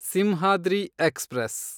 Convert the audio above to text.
Simhadri express